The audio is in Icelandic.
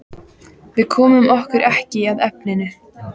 Við komum okkur ekki að efninu.